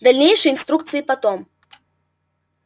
дальнейшие инструкции потом